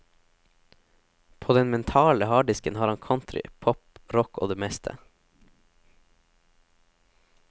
På den mentale harddisken har han country, pop, rock og det meste.